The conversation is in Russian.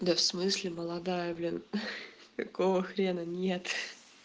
да в смысле молодая блин ха-ха какого хрена нет